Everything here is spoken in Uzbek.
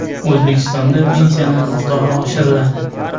O‘zbekistonda pensiyalar miqdori oshiriladi.